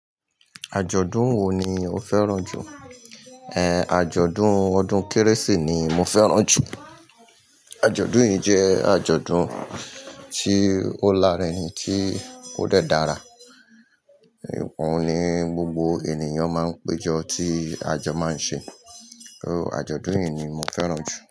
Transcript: Àjọ̀dún wo ni o fẹ́ràn jù? Àjọ̀dún ọdún Kérésì ni mo fẹ́ràn jù. Àjọ̀dún yìí jẹ́ àjọ̀dún tí ó larinrin tí ó dẹ́ dára, òún ni gbogbo ènìyàn máa ń péjọ tí àjọ máa ń ṣe, àjọ̀dún yìí ni mo fẹ́ràn jù.